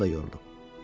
Ruhun da yoruldu.